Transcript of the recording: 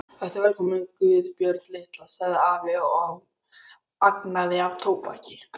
Vertu velkomin Guðbjörg litla, sagði afi og angaði af tóbaki.